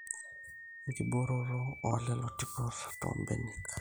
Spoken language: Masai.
enkibooroto oolelo tipot toombenek